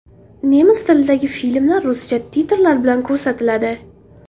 Nemis tilidagi filmlar ruscha titrlar bilan ko‘rsatiladi.